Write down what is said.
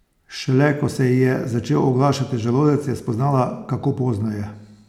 Šele ko se ji je začel oglašati želodec, je spoznala, kako pozno je.